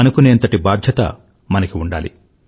అనుకునేంతటి బాధ్యత మనకి ఉండాలి